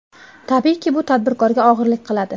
Tabiiyki, bu tadbirkorga og‘irlik qiladi.